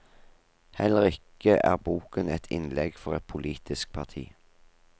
Heller ikke er boken et innlegg for et politisk parti.